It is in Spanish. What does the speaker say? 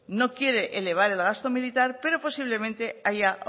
no quiere elevar el gasto militar pero posiblemente haya